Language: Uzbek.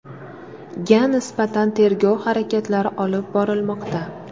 ga nisbatan tergov harakatlari olib borilmoqda.